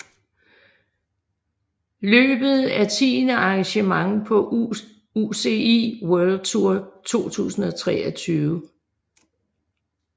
Løbet er tiende arrangement på UCI World Tour 2023